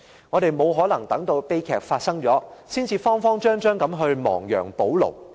我們沒可能等到悲劇發生了，才慌慌張張地亡羊補牢。